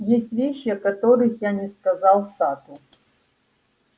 есть вещи о которых я не сказал сатту